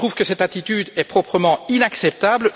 Je trouve que cette attitude est tout bonnement inacceptable.